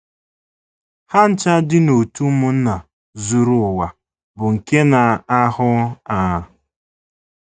Ha ncha di n’òtù ụmụnna zuru ụwa bụ́ nke na - ahụ a.